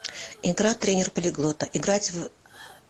игра тренер полиглота играть в